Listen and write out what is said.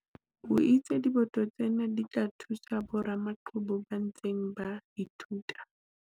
o itse diboto tsena di tla thusa boramaqhubu ba ntseng ba ithuta.